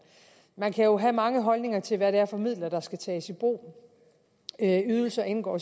man kan jo have mange holdninger til hvad det er for midler der skal tages i brug ydelser indgår